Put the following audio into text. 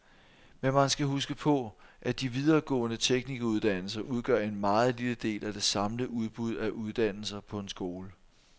Men man skal huske på, at de videregående teknikeruddannelser udgør en meget lille del af det samlede udbud af uddannelser på en skole.